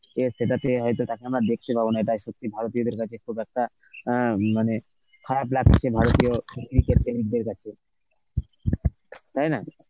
দিয়ে সেটাতে হয়তো তাকে আমরা দেখতে পাবো না এটা সত্যি ভারতীয়দের কাছে খুব একটা অ্যাঁ মানে খারাপ লাগছে ভারতীয় cricket প্রেমিকদের কাছে. তাই না?